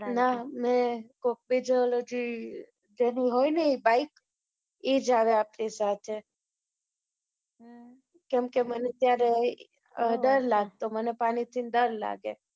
ના, મે કોક બીજો, ઓલો જી, જેનુંં હોય ને ઈ બાઈક, ઈ જ આવે આપડી સાથે. કેમકે મને ત્યારે, ડર લાગતો. મને પાણીથી ડર લાગે